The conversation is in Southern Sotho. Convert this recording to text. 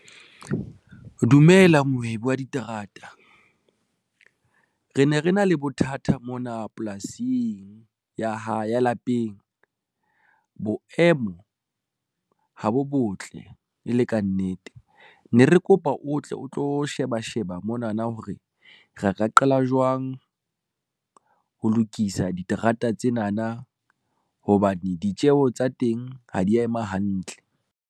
Dumela mohwebi wa diterata. Re ne re na le bothata mona polasing ya lapeng. Boemo ha bo botle e le ka nnete ne re kopa o tle o tlo sheba sheba monana hore re ka qala jwang ho lokisa diterata tsenana hobane ditjeho tsa teng ha di ya ema hantle.